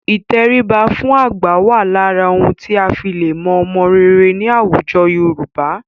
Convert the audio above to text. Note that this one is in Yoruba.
Ìtẹríba fún àgbà wà lára ohun tí a lè fi mọ ọmọ rere ní àwùjọ Yorùbá.